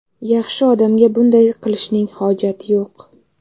Yaxshi odamga bunday qilishning hojati yo‘q.